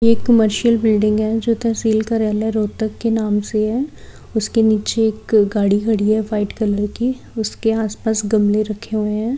ये एक commercial building है जो तहसील कार्यालय रोहतक के नाम से है उसके नीचे एक गाड़ी खड़ी है व्हाइट कलर की उसके आसपास गमले रखे हुए है।